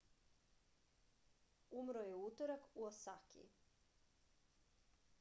umro je u utorak u osaki